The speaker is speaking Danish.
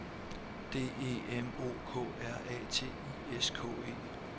D E M O K R A T I S K E